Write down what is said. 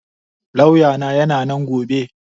Lauya na yana nan gobe